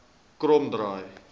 kromdraai